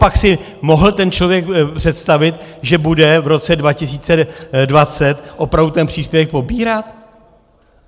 Copak si mohl ten člověk představit, že bude v roce 2020 opravdu ten příspěvek pobírat?